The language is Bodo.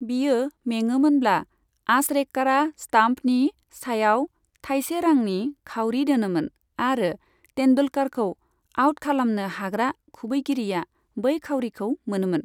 बियो मेङोमोनब्ला, आचरेकरा स्टाम्पनि सायाव थायसे रांनि खाउरि दोनोमोन आरो तेन्दुलकारखौ आउट खालामनो हाग्रा खुबैगिरिआ बै खाउरिखौ मोनोमोन।